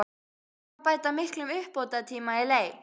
Hvað má bæta miklum uppbótartíma í leik?